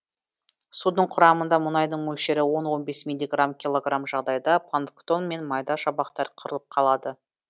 судың құрамында мұнайдың мөлшері он он бес миллиграмм килограмм жағдайда планктон мен майда шабақтар қырылып қалады